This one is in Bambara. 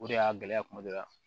O de y'a gɛlɛya kuma dɔ la